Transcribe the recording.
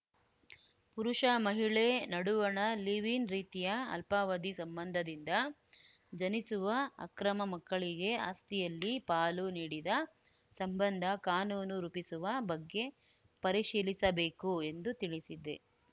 ಪುರುಷ ಮಹಿಳೆ ನಡುವಣ ಲಿವ್‌ ಇನ್‌ ರೀತಿಯ ಅಲ್ಪಾವಧಿ ಸಂಬಂಧದಿಂದ ಜನಿಸುವ ಅಕ್ರಮ ಮಕ್ಕಳಿಗೆ ಆಸ್ತಿಯಲ್ಲಿ ಪಾಲು ನೀಡಿದ ಸಂಬಂಧ ಕಾನೂನು ರೂಪಿಸುವ ಬಗ್ಗೆ ಪರಿಶೀಲಿಸಬೇಕು ಎಂದು ತಿಳಿಸಿದೆ